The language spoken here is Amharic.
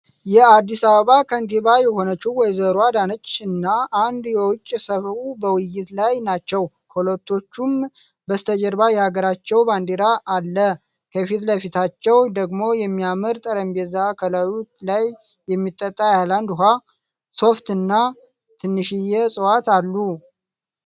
የአዲስ አበባ ከንቲባ የሆነችው ወይዘሮ አዳነች እና አንድ የውጭ ሰው በውይይት ላይ ናቸው። ከሁለቶቹም በስተጀርባ የሀገራቸው ባንዲራ አለ። ከፊትለፊታቸው ደግሞ የሚያምር ጠረጴዛ ከላዩ ላይየሚጠጣ የሀይላንድ ውሀ ፣ሶፍት እና ትንሽየ እፅዋት አሉ።